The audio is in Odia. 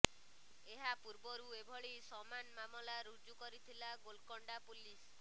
ଏହା ପୂର୍ବରୁ ଏଭଳି ସମାନ ମାମଲା ଋଜୁ କରିଥିଲା ଗୋଲକଣ୍ଡା ପୁଲିସ